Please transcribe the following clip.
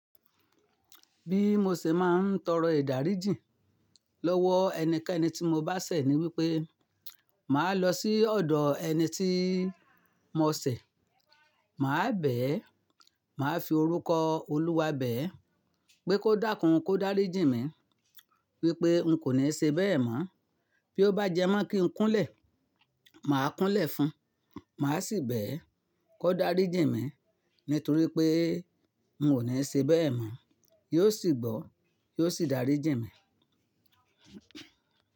Bí mo ṣe máa ń tọrọ ìdáríjìn lọ́wọ́ ẹnikẹ́ni tí mo bá ṣẹ̀ ni wípé, màá lọ sí ọ̀dọ̀ ẹni tí mo ṣẹ̀, màá bẹ̀ ẹ́, màá fi orúkọ Olúwa bẹ̀ ẹ́ pé kó dákún kó dáríjìn mí wípé ǹ kò ní ṣe bẹ́ẹ̀ mọ́. Bí ó bá jẹ́ mọ́ kí n kúnlẹ̀, màá kúnlẹ̀ fún, màá sì bẹ̀ ẹ́ kó dáríjìn mí nítorí pé n ò ní ṣe bẹ́ẹ̀ mọ́. Yóò sì gbọ́, yóò sì dáríjìn mí.